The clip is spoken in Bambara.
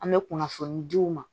An bɛ kunnafoni di u ma